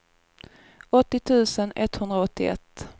åttio tusen etthundraåttioett